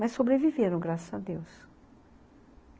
Mas sobreviveram, graças a Deus.